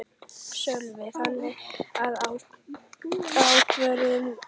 Sölvi: Þannig að ákvörðunin er þín?